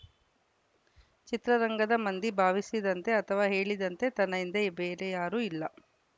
ಚಿತ್ರರಂಗದ ಮಂದಿ ಭಾವಿಸಿದಂತೆ ಅಥವಾ ಹೇಳಿದಂತೆ ತನ್ನ ಹಿಂದೆ ಬೇರೆ ಯಾರೂ ಇಲ್ಲ